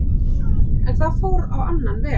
En það fór á annan veg.